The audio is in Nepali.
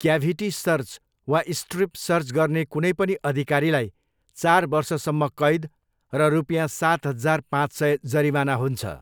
क्याभिटी सर्च वा स्ट्रिप सर्च गर्ने कुनै पनि अधिकारीलाई चार वर्षसम्म कैद र रुपियाँ सात हजार पाँच सय जरिवाना हुन्छ।